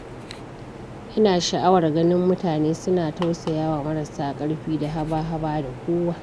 Ina sha'awar ganin mutane suna tausayawa marasa ƙarfi da haba-haba da kowa.